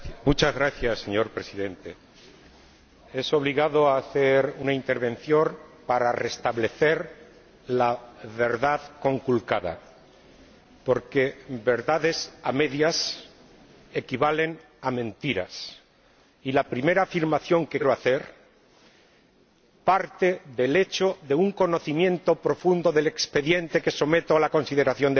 Señor Presidente, es obligado hacer una intervención para restablecer la verdad conculcada, porque verdades a medias equivalen a mentiras, y la primera afirmación que quiero hacer parte del hecho de un conocimiento profundo del expediente que someto a la consideración de la Cámara.